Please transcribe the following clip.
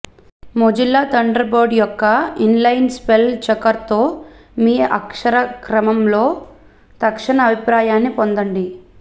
Mozilla Thunderbird యొక్క inline spell చెకర్తో మీ అక్షరక్రమంలో తక్షణ అభిప్రాయాన్ని పొందండి